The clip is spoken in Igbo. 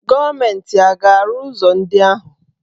Gọọmenti a ga-arụ ụzọ ndị ahụ?